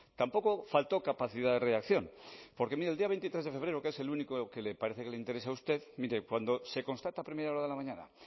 tampoco faltó capacidad de reacción porque mire el día veintitrés de febrero que es el único que parece que le interesa usted mire cuando se constata a primera hora de la mañana